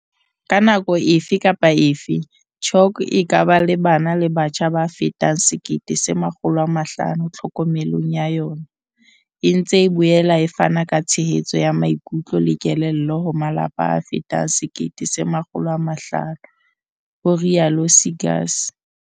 "Ka nako efe kapa efe, CHOC e ka ba le bana le batjha ba fetang 1 500 tlhokomelong ya yona, e ntse e boela e fana ka tshehetso ya maikutlo le kelello ho malapa a fetang 1 500," ho rialo Seegers.